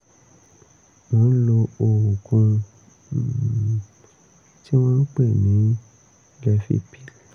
mò ń lo oògùn um tí wọ́n ń pè ní levipil